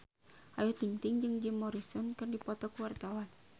Ayu Ting-ting jeung Jim Morrison keur dipoto ku wartawan